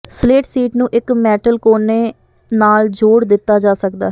slate sheet ਨੂੰ ਇੱਕ metal ਕੋਨੇ ਨਾਲ ਜੋੜ ਦਿੱਤਾ ਜਾ ਸਕਦਾ ਹੈ